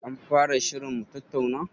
An fara shirin mutattauna?